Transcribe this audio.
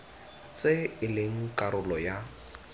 tse e leng karolo ya